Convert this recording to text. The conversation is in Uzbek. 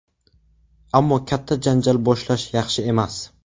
Ammo katta janjal boshlash yaxshi emas.